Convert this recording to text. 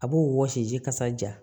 A b'o wɔsiji kasa ja